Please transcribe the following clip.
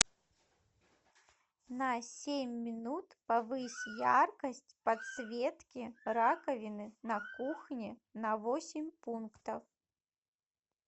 на семь минут повысь яркость подсветки раковины на кухне на восемь пунктов